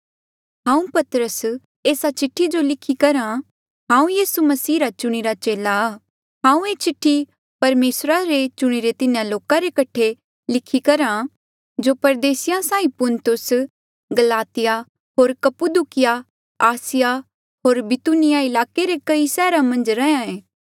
हांऊँ पतरस एस्सा चिठ्ठी जो लिखी करहा हांऊँ यीसू मसीह रा चुणिरा चेला आ हांऊँ ये चिठ्ठी परमेसरा रे चुणिरे तिन्हा लोका रे कठे लिखी करहा जो परदेसिया साहीं पुन्तुस गलातिया होर कप्पुदुकीया आसिया होर बितूनिया ईलाके रे कई सैहरा मन्झ रैंहयां ऐें